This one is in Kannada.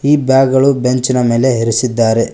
ಈ ಬ್ಯಾಗ್ ಗಳು ಬೆಂಚಿನ ಮೇಲೆ ಇರಿಸಿದ್ದಾರೆ.